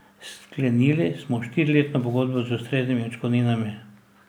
Sklenili smo štiriletno pogodbo z ustreznimi odškodninami.